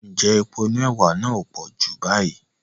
Ǹjẹ́ epo inú ẹwà náà ò pọ̀ Júù báyìí?